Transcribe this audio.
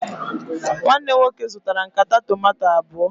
Nwanne m nwoke zụtara nkata tomanto abụọ